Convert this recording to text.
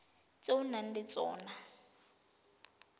tse o nang le tsona